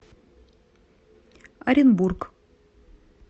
оренбург